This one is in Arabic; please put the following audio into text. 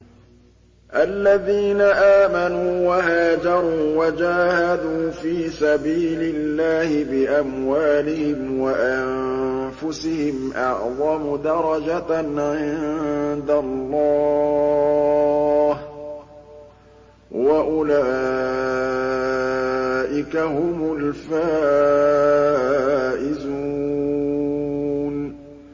الَّذِينَ آمَنُوا وَهَاجَرُوا وَجَاهَدُوا فِي سَبِيلِ اللَّهِ بِأَمْوَالِهِمْ وَأَنفُسِهِمْ أَعْظَمُ دَرَجَةً عِندَ اللَّهِ ۚ وَأُولَٰئِكَ هُمُ الْفَائِزُونَ